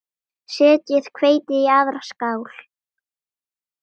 Setjið hveitið í aðra skál.